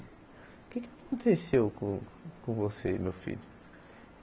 O que é que aconteceu com com você, meu filho?